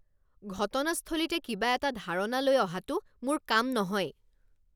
ঘটনাস্থলীতে কিবা এটা ধাৰণা লৈ অহাটো মোৰ কাম নহয়।